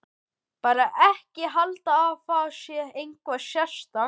Bara ekki halda að það sé eitthvað sérstakt.